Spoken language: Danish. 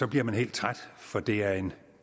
bliver man helt træt for det er en